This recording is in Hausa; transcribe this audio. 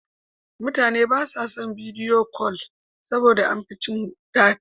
Mutane ba sa son bidiyo kol saboda da an fi cin data.